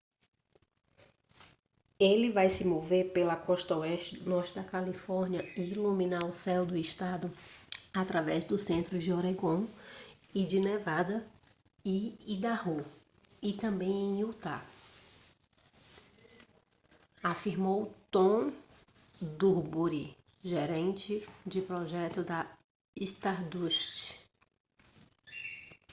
ele vai se mover pela costa oeste do norte da califórnia e iluminar o céu do estado através do centro de oregon e de nevada e idaho e também em utah afirmou tom duxbury gerente de projeto da stardust